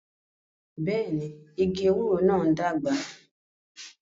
Bẹẹni, igi ewúro náà ń dàgbà